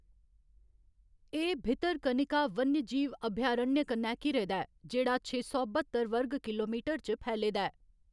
एह्‌‌ भितरकनिका वन्यजीव अभयारण्य कन्नै घिरे दा ऐ, जेह्‌‌ड़ा छे सौ बत्तर वर्ग किलोमीटर च फैले दा ऐ।